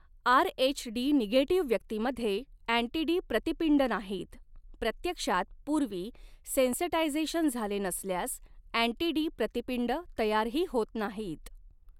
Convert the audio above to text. RH D negative व्यक्तीमध्ये anti D प्रतिपिंड नाहीत, प्रत्यक्षात पूर्वी सेन्सटायझेशन झाले नसल्यास अँटी डी प्रतिपिंड तयारही होत नाहीत.